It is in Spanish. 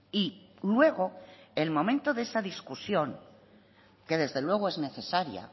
y luego el momento de esa discusión que desde luego es necesaria